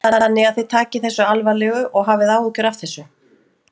Þannig að þið takið þessu alvarlegu og hafið áhyggjur af þessu?